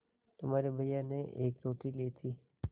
तुम्हारे भैया ने एक रोटी ली थी